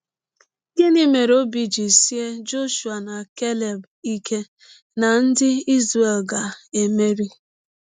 Gịnị mere ọbi ji sịe Jọshụa na Keleb ike na ndị Izrel ga - emeri?